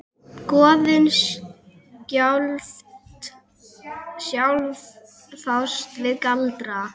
Goðin sjálf fást við galdra.